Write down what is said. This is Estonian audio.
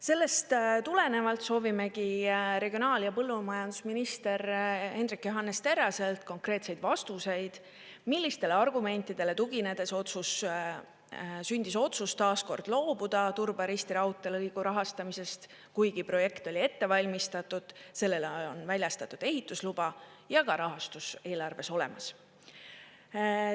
Sellest tulenevalt soovimegi regionaal- ja põllumajandusminister Hendrik Johannes Terraselt konkreetseid vastuseid, millistele argumentidele tuginedes sündis otsus taas kord loobuda Turba–Risti raudteelõigu rahastamisest, kuigi projekt oli ette valmistatud, sellele on väljastatud ehitusluba ja ka rahastus eelarves olemas.